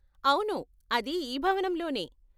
అవును అది ఈ భవనంలోనే.